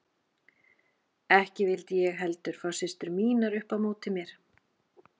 Ekki vildi ég heldur fá systur mínar upp á móti mér.